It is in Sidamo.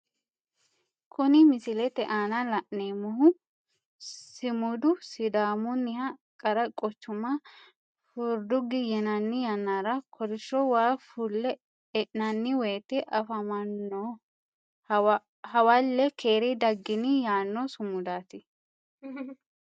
Kunni misilete aanna la'neemohu simudu sidaamunniha qara quchuma furdugi yinnanni yannara kolisho waa fule e'nanni woyete afamano hawale keere daginni yaano sumudaati.